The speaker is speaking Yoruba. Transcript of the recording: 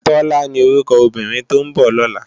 Tola ni órúkò óbìrín tó n bò lòlá